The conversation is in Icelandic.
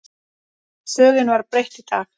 Sögunni var breytt í dag.